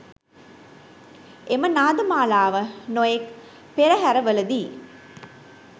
එම නාද මාලාව නොයෙක් පෙරහැරවලදී